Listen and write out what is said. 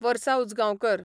वर्सा उजगांवकर